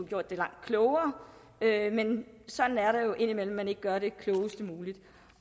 gjort det langt klogere men sådan er det jo indimellem at man ikke gør det klogest mulige